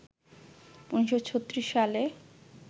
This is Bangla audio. ১৯৩৬ সালে